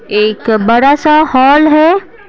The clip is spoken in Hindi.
एक बड़ा सा हॉल है।